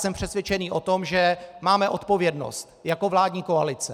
Jsem přesvědčený o tom, že máme odpovědnost jako vládní koalice.